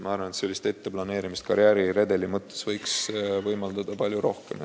Ma arvan, et karjääriredeli etteplaneerimist võiks võimaldada palju rohkem.